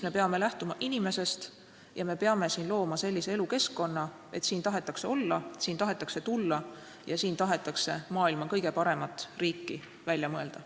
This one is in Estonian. Me peame lähtuma inimesest ja looma sellise elukeskkonna, et siin tahetakse olla, siia tahetakse tulla ja siin tahetakse maailma kõige paremat riiki välja mõelda.